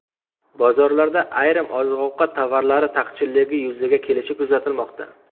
Bozorlarda ayrim oziq-ovqat tovarlari taqchilligi yuzaga kelishi kuzatilmoqda.